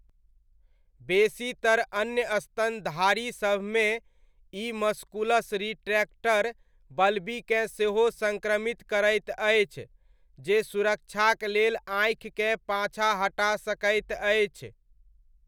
बेसीतर अन्य स्तनधारीसभमे, ई मस्कुलस रिट्रैक्टर बल्बीकेँ सेहो सङ्क्रमित करैत अछि, जे सुरक्षाक लेल आँखिकेँ पाछाँ हटा सकैत अछि।